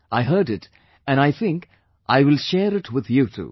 I heard it and I think, I will share it with you too